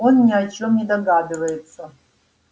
он ни о чём не догадывается